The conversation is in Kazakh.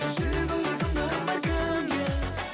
жүрегіңде кімге орын бар кімге